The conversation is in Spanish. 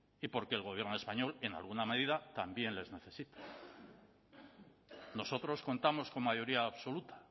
y porque el gobierno español en alguna medida también les necesita nosotros contamos con mayoría absoluta